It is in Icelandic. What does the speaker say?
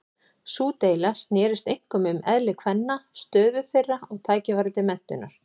Sú deila snerist einkum um eðli kvenna, stöðu þeirra og tækifæri til menntunar.